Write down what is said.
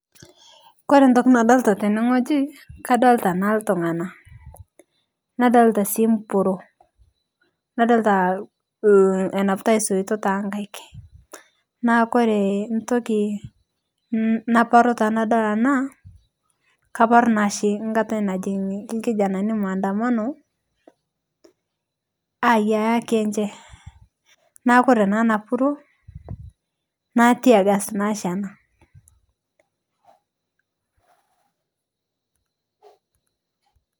Koree entoki nadolita tene wueji, kadolita sii iltunganak. nadolta sii empuruo. nadolta enapitai ispitok too nkaik. naa kore entoki naparu tenadol ena kaparu naa oshi nkata najo ilkijanani maandamno. neekh ore naa ena puruo na teargas naa oshi ena.